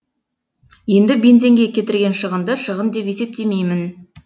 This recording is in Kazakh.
енді бензинге кетірген шығынды шығын деп есептемеймін